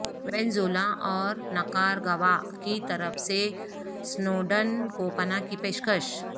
وینزولا اور نکارگوا کی طرف سے اسنوڈن کو پناہ کی پیشکش